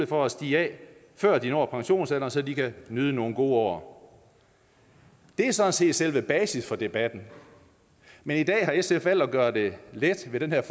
for at stige af før de når pensionsalderen så de kan nyde nogle gode år det er sådan set selve basis for debatten men i dag har sf valgt at gøre det let ved den her